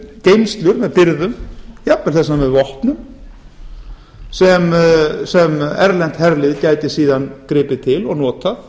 geymslur með birgðum jafnvel þess vegna með vopnum sem erlent herlið gæti síðan gripið til og notað